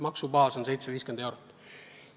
Maksubaas on 750 eurot.